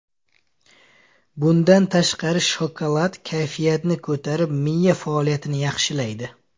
Bundan tashqari, shokolad kayfiyatni ko‘tarib, miya faoliyatini yaxshilaydi.